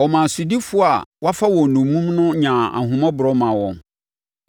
Ɔmaa sodifoɔ a wɔafa wɔn nnommum no nyaa ahummɔborɔ maa wɔn.